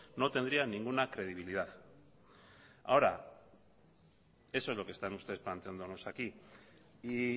no tendría ninguna credibilidad ahora eso es lo que están ustedes planteándonos aquí y